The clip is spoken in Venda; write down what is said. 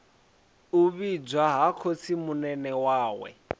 u vhidzwa ha khotsimunene wawe